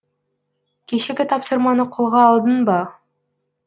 кешегі тапсырманы қолға алдың ба